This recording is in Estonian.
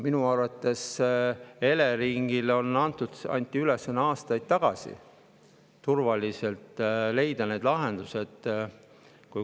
Minu arvates anti Eleringile aastaid tagasi ülesanne leida turvaliselt need lahendused.